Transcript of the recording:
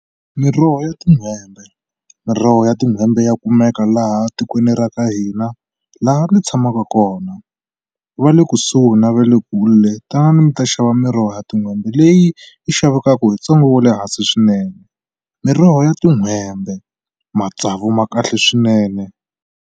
Miroho ya tin'hwembe miroho ya tin'hwembe ya kumeka laha tikweni ra ka hina laha mi tshamaka kona va le kusuhi na va le kule tanani mi ta xava miroho ya tin'hwembe leyi yi xavekaku hi ntsengo wa le hansi swinene miroho ya tin'hwembe matsavu ma kahle swinene.